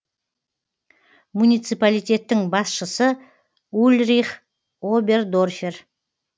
муниципалитеттің басшысы ульрих обердорфер